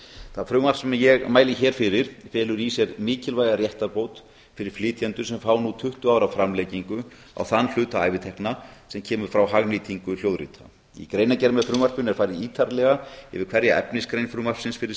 það frumvarp sem ég álit hér fyrir felur í sér mikilvæga réttarbót fyrri flytjendur sem fá nú tuttugu ára framlengingu á þann hluta ævitekna sem kemur frá hagnýtingu hljóðrita í greinargerð með frumvarpinu er farið ítarlega yfir hverja efnisgrein frumvarpsins fyrir